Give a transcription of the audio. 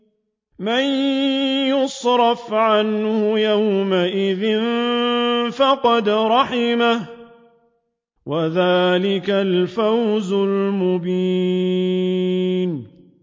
مَّن يُصْرَفْ عَنْهُ يَوْمَئِذٍ فَقَدْ رَحِمَهُ ۚ وَذَٰلِكَ الْفَوْزُ الْمُبِينُ